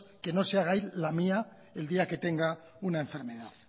que no se haga ahí la mía el día que tenga una enfermedad